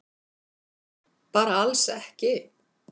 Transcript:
Bara alls ekki.